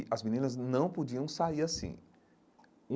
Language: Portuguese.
E as meninas não podiam sair assim.